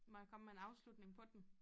Må jeg komme med en afslutning på den?